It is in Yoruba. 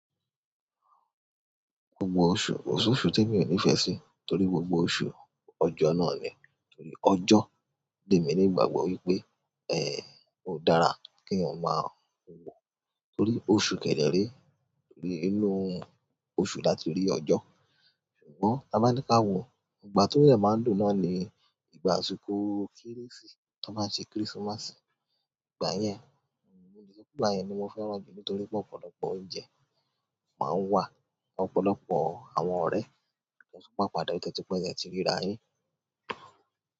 Gbogbo oṣù, kò sóṣù témí ò nífẹ̀ẹ́ sí torí gbogbo oṣù ọjọ́ náà ni. Ọjọ́ lèmi ní ìgbàgbọ́ wípé ó dára kéèyàn máa wò. Torí oṣù kẹ̀ dẹ̀ rèé, inú oṣù la ti rí ọjọ́. Ṣùgbọ́n táa bá ní ká wòó, ìgbà tó dẹ̀ máa ń dùn náà ni ìgbà àsìkò kérésì, t'ọ́n báa ń ṣe Christmas. Ìgbà yẹn, nígbà yẹn ni mo fẹ́ràn jù nítorí pé ọ̀pọ̀lọpọ̀ oúnjẹ máa ń wà, ọ̀pọ̀lọpọ̀ àwọn ọ̀rẹ́ tó ń pàpadà tó ti pẹ́ tẹ́ẹ ti ríra yín.